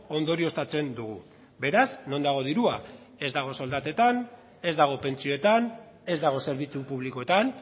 ondorioztatzen dugu beraz non dago dirua ez dago soldatetan ez dago pentsioetan ez dago zerbitzu publikoetan